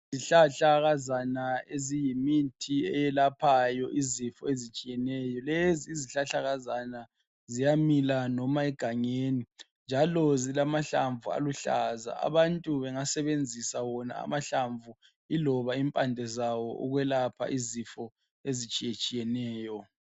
Izihlahlakazana eziyimithi eyelaphayo izifo ezitshiyeneyo. Lezi izihlahlakazana ziyamila loba egangeni, njalo zilamahlamvu aluhlaza. Abantu bengasebenzisa wona amahlamvu, iloba impande zawo, ukwelapha izifo ezitshiyetshiyeneyo.